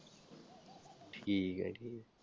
ਠੀਕ ਆ ਠੀਕ ਆ।